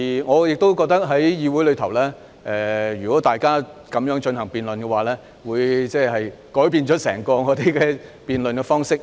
我亦認為在議會內，如果大家這樣進行辯論，便會改變我們整個辯論方式。